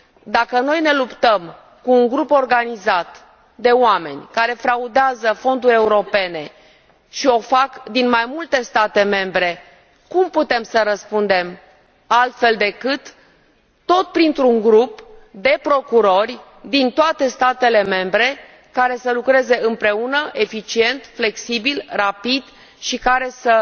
Dacă noi ne luptăm cu un grup organizat de oameni care fraudează fonduri europene și o fac din mai multe state membre, cum putem să răspundem altfel decât tot printr un grup de procurori din toate statele membre, care să lucreze împreună, eficient, flexibil, rapid și care să